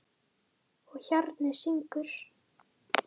Og hjarnið syngur.